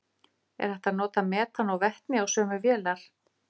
er hægt að nota metan og vetni á sömu vélar